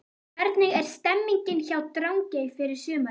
Hvernig er stemningin hjá Drangey fyrir sumarið?